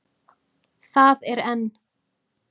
Það er enn.